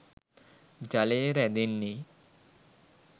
ජලය රැඳෙන්නේ